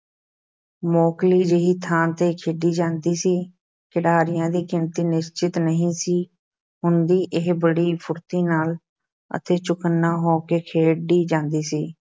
ਮੋਕਲੀ ਜਿਹੀ ਥਾਂ ’ਤੇ ਖੇਡੀ ਜਾਂਦੀ ਸੀ, ਖਿਡਾਰੀਆਂ ਦੀ ਗਿਣਤੀ ਨਿਸ਼ਚਿਤ ਨਹੀਂ ਸੀ ਹੁੰਦੀ, ਇਹ ਬੜੀ ਫੁਰਤੀ ਨਾਲ ਅਤੇ ਚੁਕੰਨਾ ਹੋ ਕੇ ਖੇਡੀ ਜਾਂਦੀ ਸੀ।